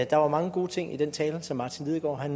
der var mange gode ting i den tale som martin lidegaard